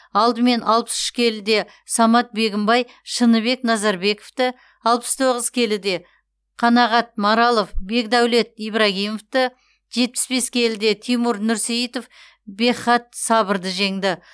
алдымен алпыс үш келіде самат бегімбай шыныбек назарбековті алпыс тоғыз келіде қанағат маралов бекдәулет ибрагимовті жетпіс бес келіде тимур нұрсейітов бекхат сабырды жеңді